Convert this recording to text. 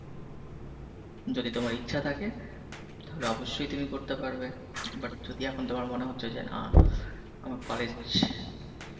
যদি তোমার ইচ্ছা থাকে তাহলে অবশ্যই তুমি করতে পারবে but যদি এখন তোমার মনে হচ্ছে যে না আমার college ছ...